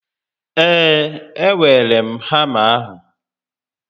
Ee, e weere m hama ahụ